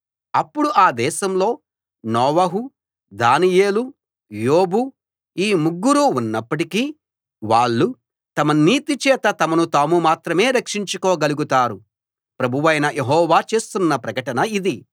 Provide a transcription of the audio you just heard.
అప్పుడు ఆ దేశంలో నోవహు దానియేలు యోబుఈ ముగ్గురూ ఉన్నప్పటికీ వాళ్ళు తమ నీతి చేత తమను తాము మాత్రమే రక్షించుకోగలుగుతారు ప్రభువైన యెహోవా చేస్తున్న ప్రకటన ఇది